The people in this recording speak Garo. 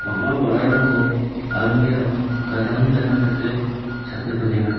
bang·a ba·rarangko almirah-o gadangni gadang dake chape donenga.